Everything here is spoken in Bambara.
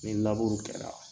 Ni laburu kɛra